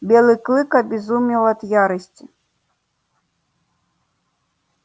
белый клык обезумел от ярости